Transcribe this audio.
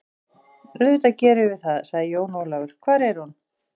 Auðvitað gerum við það, sagði Jón Ólafur, hvar er hún?